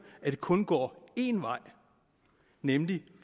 at det kun går en vej nemlig